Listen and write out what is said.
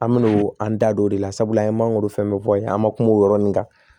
An me n'o an da don o de la sabula an ye mangoro fɛn fɛn fɔ yen an ma kuma o yɔrɔ nin kan